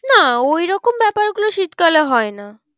না ওই রকম ব্যাপার গুলো শীতকালে হয় না।